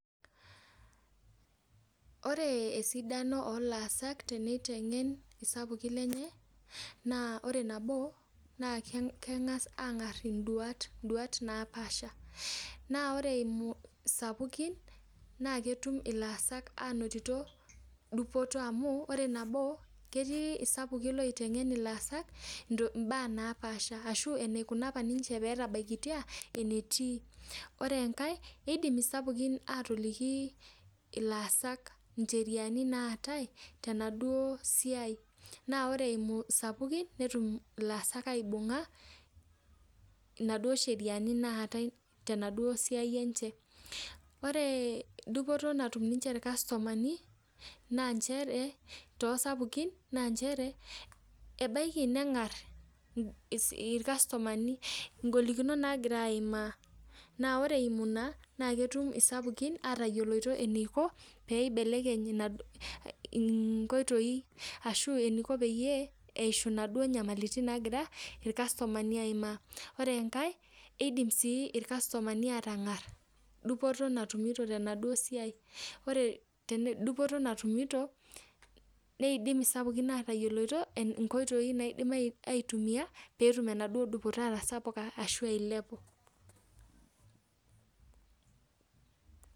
Ore esidano oo laasak teniteng'en naa ore nabo, naa keng'as aang'arr induat naapaasha. Naa ore eimu isapukin, naa ketum ilaasak ainotito dupoto amu ore nabo, ketii isapukin iloiteng'en ilaasak imbaak naapaasha ashu enikuna opa ninche peetabaikitia enetii. Ore enkae, eidim isapukin aatoliki ilaasak incheriani naatae tenaduo siai. Naa ore eimu isapukin netum ilaasak aibung'a inaduo sheriani naatae tenaduo siai enche. Ore dupoto natum ninche irkastomani naa nchere, too sapukin naa nchere, ebaiki neng'arr irkastomani ingolikinot naagira aimaa. Naa ore eimu ina naa ketum isapukin atayioloito eniko pee ibelekeny inkoitoi ashu eniko peyie eishu inaduo namalitin nagira irkastomani aimaa. Ore enkae, iidim sii irkastomani aatang'arr dupoto natumito tenaduo siai. Ore dupoto natumito, neidim isapukin aatayioloito inkoitoi naaidim aitumia peetum enaduo dupoto atasapuka ashu ailepu